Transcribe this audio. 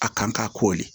A kan ka ko de